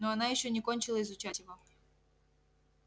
ну она ещё не кончила изучать его